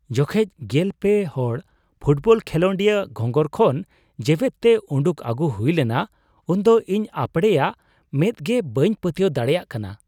ᱡᱚᱠᱷᱮᱡ ᱑᱓ ᱦᱚᱲ ᱯᱷᱩᱴᱵᱚᱞ ᱠᱷᱮᱞᱳᱰᱤᱭᱟᱹ ᱜᱷᱚᱸᱜᱚᱨ ᱠᱷᱚᱱ ᱡᱮᱣᱮᱛ ᱛᱮ ᱩᱰᱩᱠ ᱟᱹᱜᱩ ᱦᱩᱭ ᱞᱮᱱᱟ ᱩᱱᱫᱚ ᱤᱧ ᱟᱯᱲᱮᱭᱟᱜ ᱢᱮᱸᱫ ᱜᱮ ᱵᱟᱹᱧ ᱯᱟᱹᱛᱭᱟᱹᱣ ᱫᱟᱲᱮᱭᱟᱜ ᱠᱟᱱᱟ ᱾